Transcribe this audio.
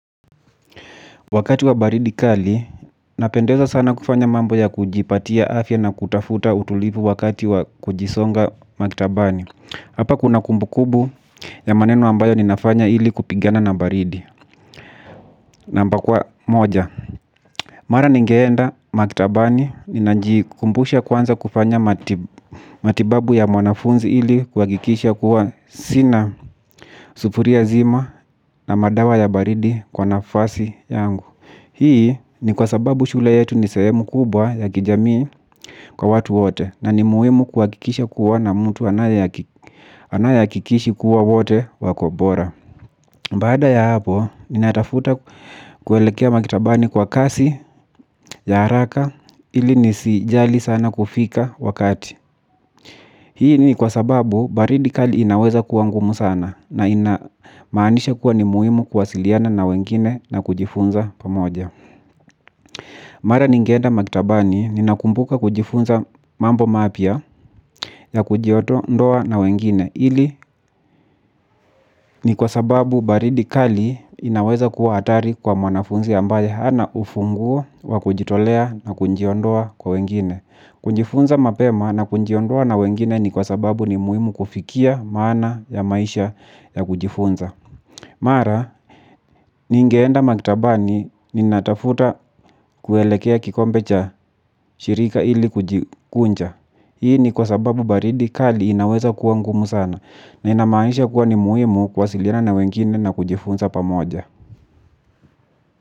Wakati wa baridi kali napendeza sana kufanya mambo ya kujipatia afya na kutafuta utulivu wakati wa kujisonga maktabani. Hapa kuna kumbukumbu ya maneno ambayo ninafanya ili kupigana na baridi. Namba kwa moja. Mara ningeenda maktabani ninajikumbusha kwanza kufanya matibabu ya mwanafunzi ili kuhakikisha kuwa sina sufuria zima na madawa ya baridi kwa nafasi yangu. Hii ni kwa sababu shule yetu ni sehemu kubwa ya kijamii kwa watu wote. Na ni muhimu kuhakikisha kuwa na mtu anayehakikisha kuwa wote wako bora. Baada ya hapo, ninatafuta kuelekea maktabani kwa kasi, ya haraka, ili nisijali sana kufika wakati. Hii ni kwa sababu, baridi kali inaweza kuwa ngumu sana. Na ina maanisha kuwa ni muhimu kuwasiliana na wengine na kujifunza pamoja. Mara ningenda maktabani ninakumbuka kujifunza mambo mapya ya kujiondoa na wengine ili ni kwa sababu baridi kali inaweza kuwa atari kwa mwanafunzi ambaye hana ufungu wa kujitolea na kunjiondoa kwa wengine. Kujifunza mapema na kujiondoa na wengine ni kwa sababu ni muhimu kufikia maana ya maisha ya kujifunza. Mara, ningeenda maktabani ninatafuta kuelekea kikombe cha shirika ili kujikunja. Hii ni kwa sababu baridi kali inaweza kuwa ngumu sana na inamaanisha kuwa ni muhimu kuwasilina na wengine na kujifunza pamoja.